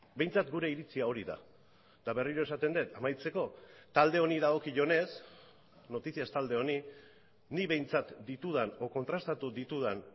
behintzat gure iritzia hori da eta berriro esaten det amaitzeko talde honi dagokionez noticias talde honi nik behintzat ditudan edo kontrastatu ditudan